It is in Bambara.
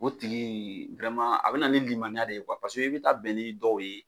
o tigi a bɛ na ni lilimaaniya de ye kuwa pa i bɛ taa bɛn ni dɔw ye